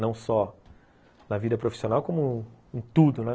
Não só na vida profissional como em tudo, né?